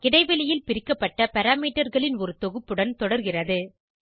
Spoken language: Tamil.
இடைவெளியில் பிரிக்கப்பட்ட parameterகளின் ஒரு தொகுப்புடன் தொடர்கிறது